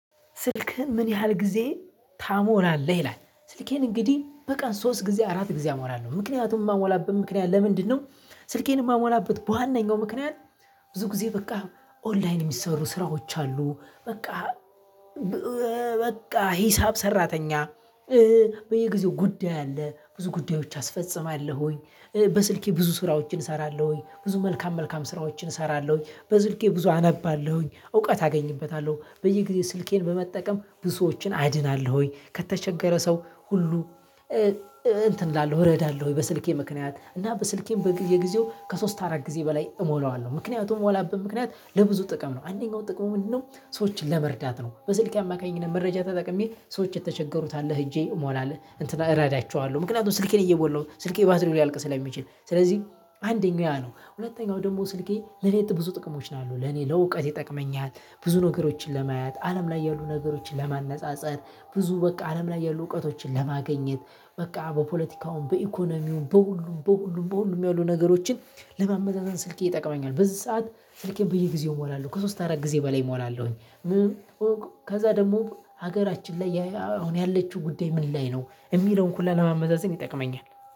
ስልክህን? ምን ያህል ጊዜ ትሞላለህ ይላል ስልኬን እንግዲህ በቀን ሶስት ጊዜ አራት ጊዜ እሞላለሁ ምክንያቱን የማሞላበት ምክንያት ለምንድነው? ስልኬን የማሞላበት በዋነኛው ምክንያት ብዙ ጊዜ በቃ ኦንላይን የሚሰሩ ስራዎች አሉ። በቃ በቃ ሂሳብ ሰራተኛ። በየጊዜው ጉዳይ አለ ብዙ ጉዳዮች አስፈጽማለሁኝ። በስልኬ ብዙ ስራዎችን እሰራለሁኝ ብዙ መልካም መልካም ስራዎችን እሰራለሁኝ በስልኬ ብዙ አነባለሁኝ እውቀት አገኝበታለሁ በየጊዜው ስልኬን በመጠቀም ብዙ ሰዎችን አድናለሁ። ከተቸገረ ሰው ሁሉ። እንትን እላለሁ እረዳለሁ በስልኬ ምክንያት እና በስልኬም በጊዜው ከሶስት አራት ጊዜ በላይ እሞለዋለሁ ምክንያቱም ምሞላበት ምክንያት ለብዙ ጥቅም ነው። አንደኛው ጥቅሙ ምንድነው? ሰዎችን ለመርዳት ነው። በስልኬ አማካኝነት መረጃ ተጠቅሜ ሰዎች የተቸገሩት ካለ እጄ ሞላለሁ እንትን እረዳቸዋለሁ። ምክንያቱም ስልኬን እየሞላሁ ስልኬ ባትሪው ሊያልቅ ስለሚችል ስለዚህ አንደኛ ያ ነው። ሁለተኛው ደግሞ ስልኬ ለእኔ ብዙ ጥቅሞች ነው ያለው ለኔ ለእውቀት ይጠቅመኛል ብዙ ነገሮችን ለማያት አለም ላይ ያሉ ነገሮችን ለማነፃፀር። ብዙ በቃ አለም ላይ ያሉ እውቀቶችን ለማግኘት። በቃ በፖለቲካውም በኢኮኖሚውም በሁሉም በሁሉም በሁሉም ያሉ ነገሮችን ለማመዛዘን ስልኬ ይጠቅመኛል። በዚህ ሰዓት ስልኬ በየጊዜው እሞላለሁ ከሶስት አራት ጊዜ በላይ እሞላለሁኝ። ከዛ ደግሞ ሀገራችን ላይ አሁን ያለችው ጉዳይ ምን ላይ ነው የሚለውን ሁላ ለማመዛዘን ይጠቅመኛል